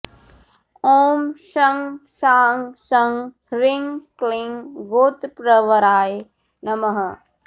ॐ शं शां षं ह्रीं क्लीं गोत्रप्रवराय नमः